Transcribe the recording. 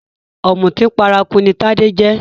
Òmùtí paraku ní Tádé jẹ́